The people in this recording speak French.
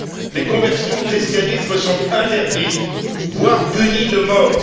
Les conversions au christianisme sont interdites voire punies de mort.